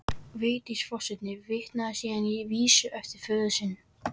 Vigdís forseti vitnar síðan í vísu eftir föður sinn